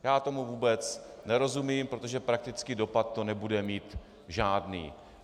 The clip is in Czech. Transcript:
Já tomu vůbec nerozumím, protože praktický dopad to nebude mít žádný.